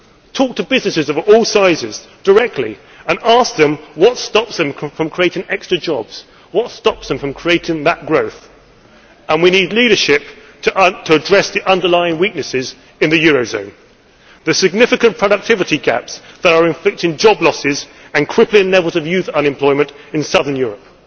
era talk to businesses of all sizes directly and ask them what stops them from creating extra jobs, what stops them from creating that growth. We need leadership to address the underlying weaknesses in the eurozone the significant productivity gaps that are inflicting job losses and crippling levels of youth unemployment in southern